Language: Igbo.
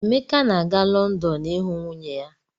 Emeka na-aga Lọndọn ịhụ nwunye ya.